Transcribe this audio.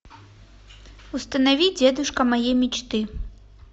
установи дедушка моей мечты